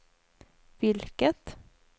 vilket